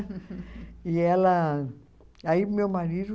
E ela... Aí meu marido...